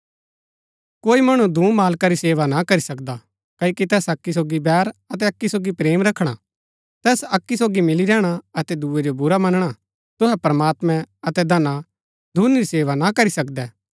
कोई मणु दूँ मालका री सेवा न करी सकदा क्ओकि तैस अक्की सोगी बैर अतै अक्की सोगी प्रेम रखणा तैस अक्की सोगी मिली रैहणा अतै दूये जो बुरा मनणा तुहै प्रमात्मैं अतै धना दूनी री सेवा ना करी सकदै